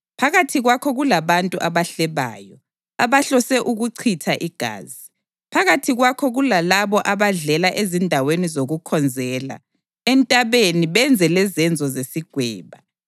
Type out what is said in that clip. Phakathi kwakho kulabantu abahlebayo, abahlose ukuchitha igazi; phakathi kwakho kulalabo abadlela ezindaweni zokukhonzela entabeni benze lezenzo zesigweba.